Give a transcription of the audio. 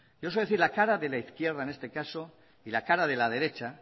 yo suelo decir la cara de la izquierda en este caso y la cara de la derecha